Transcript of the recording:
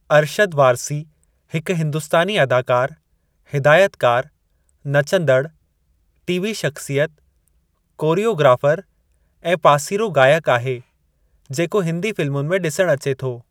अरशद वारसी हिकु हिंदुस्तानी अदाकारु, हिदायतकारु, नचंदड़ु, टीवी शख़्सियत, कोरियोग्राफरु ऐं पासीरो ॻायकु आहे जेको हिंदी फ़िल्मुनि में ॾिसणु अचे थो।